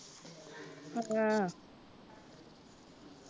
ਹੈ।